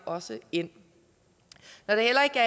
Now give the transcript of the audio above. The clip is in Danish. også ind når det heller ikke